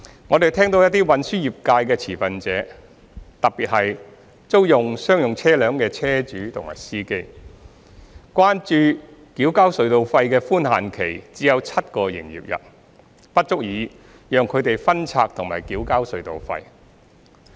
我們聽到一些運輸業界的持份者，特別是租用商用車輛的車主和司機，關注繳交隧道費的寬限期只有7個營業日，不足以讓他們分拆及繳交隧道費。